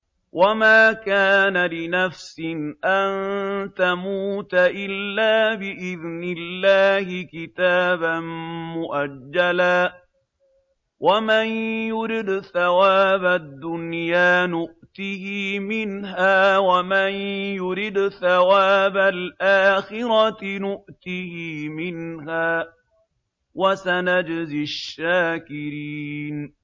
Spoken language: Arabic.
وَمَا كَانَ لِنَفْسٍ أَن تَمُوتَ إِلَّا بِإِذْنِ اللَّهِ كِتَابًا مُّؤَجَّلًا ۗ وَمَن يُرِدْ ثَوَابَ الدُّنْيَا نُؤْتِهِ مِنْهَا وَمَن يُرِدْ ثَوَابَ الْآخِرَةِ نُؤْتِهِ مِنْهَا ۚ وَسَنَجْزِي الشَّاكِرِينَ